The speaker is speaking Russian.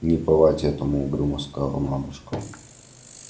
не бывать этому угрюмо сказала мамушка